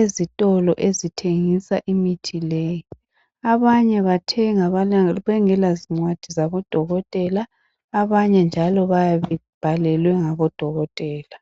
ezitolo ezithengisa imithi leyi .Abanye bathenga bengela zincwadi zabo dokotela abanye njalo bayabe bebhalelwe ngabodokotela .